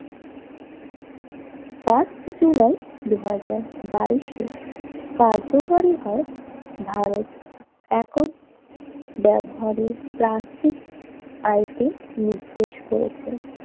Fast July দুই হাজার বাইস এ কার্যকরী হয় ভারত একক ব্যবহারের প্লাস্টিক আইনটি নির্দেশ করেছে।